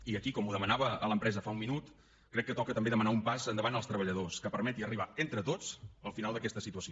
i aquí com ho demanava a l’empresa fa un minut crec que toca també demanar un pas endavant als treballadors que permeti arribar entre tots al final d’aquesta situació